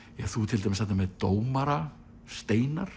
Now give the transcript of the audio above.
þú ert til dæmis þarna með dómara Steinar